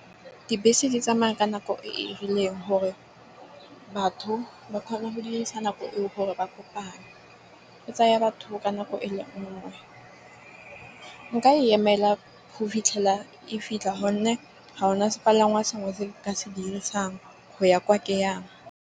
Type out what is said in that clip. Dibese di tsamaya ka nako e rileng gore batho ba kgone go dirisa nako e o gore ba kopane. E tsaya batho ka nako e le nngwe nka e emela go fitlhela e fitlha. Gonne ga ona sepalangwa sengwe se ke se dirisang go ya kwa ke yang.